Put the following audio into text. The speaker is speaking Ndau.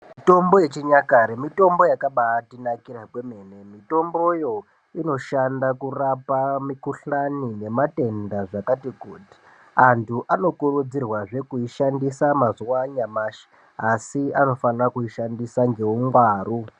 Mitombo yechikare mitombo yakabaatinakira kwemene mitomboyo inoshanda kurapa mikuhlani nematenda zvakati kuti antu anokurudzirwazve kuishandisa mazuwa anyamashi asi anofanira kuishandisa ngeungwaru